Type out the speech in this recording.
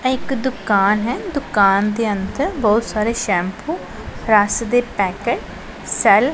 ਇਹ ਇੱਕ ਦੁਕਾਨ ਹੈ ਦੁਕਾਨ ਦੇ ਅੰਦਰ ਬਹੁਤ ਸਾਰੇ ਸ਼ੈਮਪੋ ਰਸ ਦੇ ਪੈਕਟ ਸੈਲ